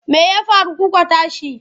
Me ya faru kuka tashi?